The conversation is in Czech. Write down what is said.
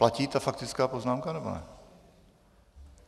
Platí ta faktická poznámka, nebo ne?